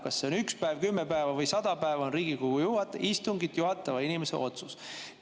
Kas see on üks päev, kümme päeva või 100 päeva, on Riigikogu istungit juhatava inimese otsus.